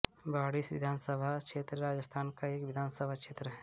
बाड़ी विधानसभा क्षेत्र राजस्थान का एक विधानसभा क्षेत्र है